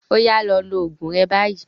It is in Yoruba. Oya lọ lo oògùn rẹ báyìí.